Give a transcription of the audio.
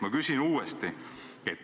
Ma küsin uuesti.